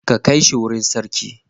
Ka kai shi wurin sarki.